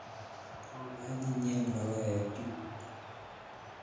Anyinyen logoek chu